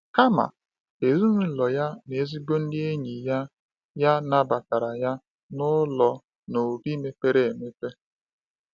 Kama, ezinụlọ ya na ezigbo ndị enyi ya ya nabatara ya n’ụlọ n’obi mepere emepe.